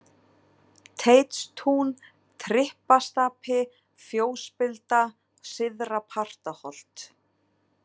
Teitstún, Trippastapi, Fjósspilda, Syðra-Partaholt